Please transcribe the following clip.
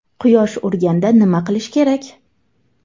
Quyosh urganda nima qilish kerak?.